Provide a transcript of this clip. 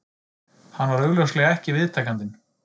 Hann var augljóslega ekki viðtakandinn